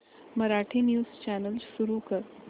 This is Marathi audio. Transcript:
मराठी न्यूज चॅनल सुरू कर